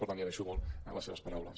per tant li agraeixo molt les seves paraules